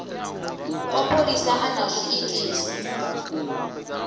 wa pholisa a na zwiitisi